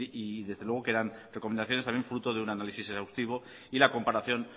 y desde luego que eran recomendaciones también fruto de un análisis exhaustivo y la comparación